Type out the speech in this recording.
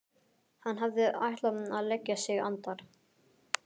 Hann hafði ætlað að leggja sig andar